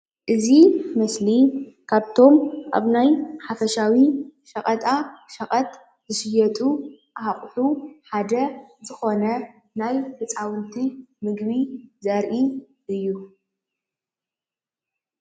እዚ ምስሊ ካብቶም ኣብ ናይ ሓፈሻዊ ሸቀጣ ሸቀጥ ዝሽየጡ ኣቁሑ ሓደ ዝኮነ ናይ ህፃዉንቲ ምግቢ ዘርኢ እዩ::